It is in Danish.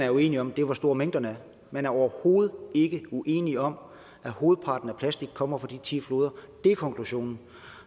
er uenige om er hvor store mængderne er man er overhovedet ikke uenige om at hovedparten af plastikken kommer fra de ti floder det er konklusionen